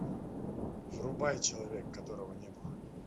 врубай человек которого не было